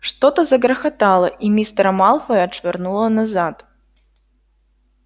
что-то загрохотало и мистера малфоя отшвырнуло назад